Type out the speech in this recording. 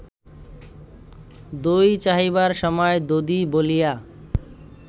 দই চাহিবার সময় দধি বলিয়া